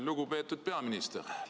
Lugupeetud peaminister!